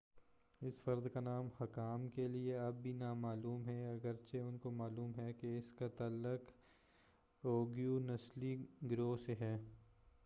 اس فرد کا نام حکام کے لئے اب بھی نا معلوم ہے اگرچہ ان کو معلوم ہے کہ اس کا تعلق اوئیغور نسلی گروہ سے ہے